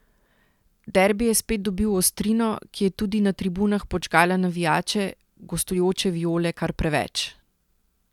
Derbi je spet dobil ostrino, ki je tudi na tribunah podžgala navijače, gostujoče Viole kar preveč.